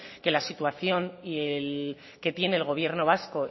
que la situación y el que tiene el gobierno vasco